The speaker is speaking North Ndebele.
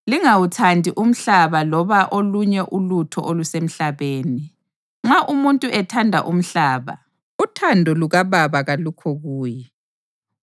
Lingawuthandi umhlaba loba olunye ulutho olusemhlabeni. Nxa umuntu ethanda umhlaba, uthando lukaBaba kalukho kuye.